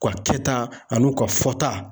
U ka kɛta a n'u ka fɔta